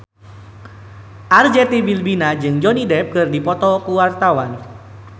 Arzetti Bilbina jeung Johnny Depp keur dipoto ku wartawan